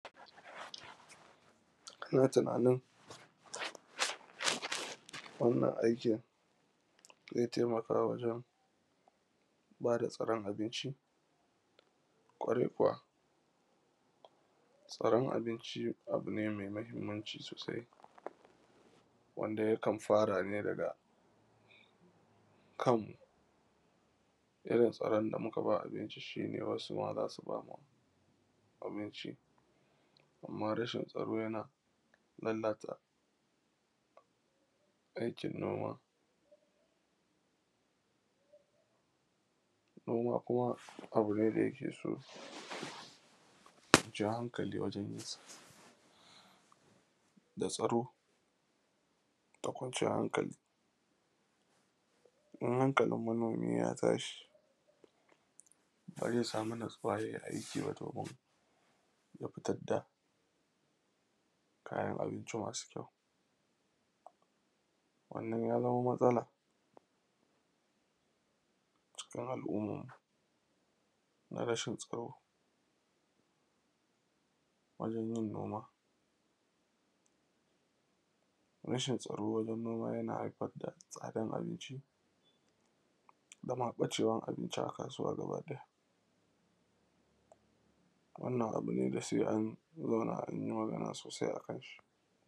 Ina tunanin wannan aikin ze taimaka wajen ba da tsaron abinci, kwarai kuwa tsaron abinci abu ne mai mahinmanci sosai, wanda yakan fara ne daga kan irin tsaron da muka ba abinci. Shi ne wasu ma za su bamu abinci, amma rashin tsaro yana lallata aikin noma. Noma kuma abu ne wanda yake so ja haŋkali wajen yin sa da tsaro da kwanciyan haŋkali, in hankalin manomi ya tashi, ba ze samu natsuwa ba, ya yi aiki ba, ya fitar da kayan abinci masu kyau. Amnan ya zamo matsala cikin al’umman mu, na rashin tsaro wajen yin noma, rashin tsaro wajen yin noma yana haifar da tsadar abinci, da ma ɓacewan abinci a kasuwa a gabanta. Wannan abu ne da se an zauna an yi magana sosai a kansa.